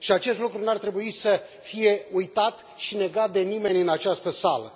Și acest lucru nu ar trebui să fie uitat și negat de nimeni în această sală.